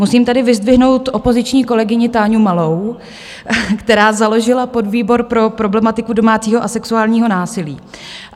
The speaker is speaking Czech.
Musím tedy vyzdvihnout opoziční kolegyni Táňu Malou, která založila podvýbor pro problematiku domácího a sexuálního násilí.